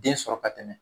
Den sɔrɔ ka tɛmɛ